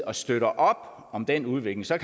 og støtter op om om den udvikling så